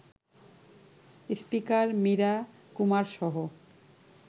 speaker Meira কুমারসহ